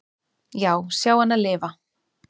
"""Já, sjá hana lifa."""